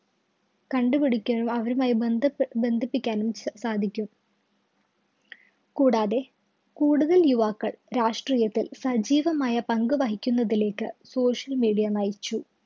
കണ്ടുപിടിക്കാനും അവരുമായി ബന്ധബന്ധിപ്പിക്കാനും സാധിക്കും. കൂടാതെ കൂടുതല്‍ യുവാക്കള്‍, രാഷ്ട്രീയത്തില്‍ സജ്ജീവമായ പങ്കുവഹിക്കുന്നതിലേക്ക് social media നയിച്ചു.